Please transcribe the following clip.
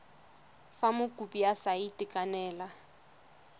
fa mokopi a sa itekanela